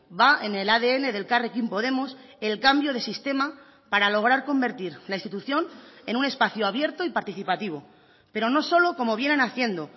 va en el adn de elkarrekin podemos el cambio de sistema para lograr convertir la institución en un espacio abierto y participativo pero no solo como vienen haciendo